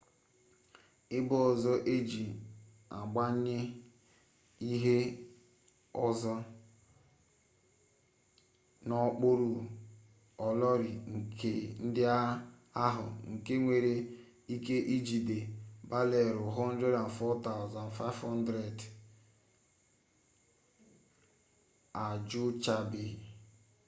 ebe ọzọ e ji agbanye ihe ọzọ n'okpuru olori ndị ahụ nke nwere ike ijigide barelụ 104,500 ejuchabeghị